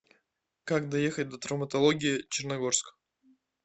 как доехать до травматологии черногорск